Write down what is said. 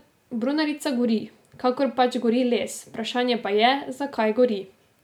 Brunarica gori, kakor pač gori les, vprašanje pa je, zakaj zagori.